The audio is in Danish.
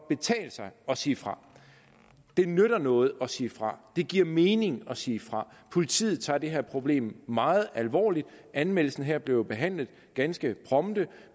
betale sig at sige fra det nytter noget at sige fra det giver mening at sige fra og politiet tager det her problem meget alvorligt anmeldelsen her blev jo behandlet ganske prompte